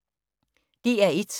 DR1